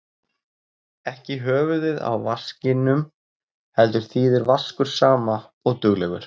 Ekki í höfuðið á vaskinum heldur þýðir vaskur sama og duglegur.